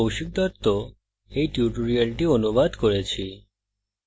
আমি কৌশিক দত্ত এই টিউটোরিয়ালটি অনুবাদ করেছি অংশগ্রহনের জন্য ধন্যবাদ